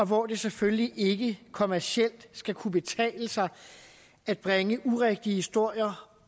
hvor det selvfølgelig ikke kommercielt skal kunne betale sig at bringe urigtige historier